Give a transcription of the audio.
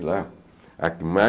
lá a que